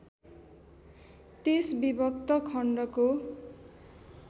त्यस विभक्त खण्डको